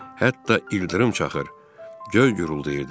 Hətta ildırım çaxır, göy guruldayırdı.